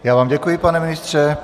Já vám děkuji, pane ministře.